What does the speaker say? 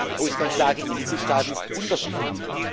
Die Ausgangslage in den Mitgliedstaaten ist unterschiedlich.